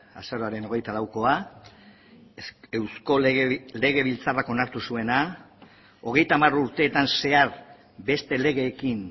azaroaren hogeita laukoa eusko legebiltzarrak onartu zuena hogeita hamar urteetan zehar beste legeekin